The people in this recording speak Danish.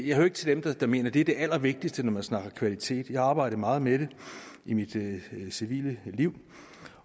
jeg hører ikke til dem der der mener at det er det allervigtigste når man snakker kvalitet jeg har arbejdet meget med det i mit civile liv